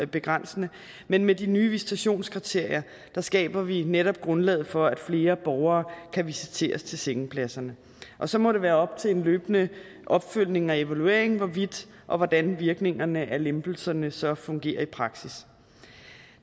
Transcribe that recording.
begrænsende men med de nye visitationskriterier skaber vi netop grundlaget for at flere borgere kan visiteres til sengepladserne og så må det være op til en løbende opfølgning og evaluering hvorvidt og hvordan virkningerne af lempelserne så fungerer i praksis